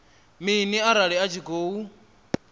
mini arali a tshi khou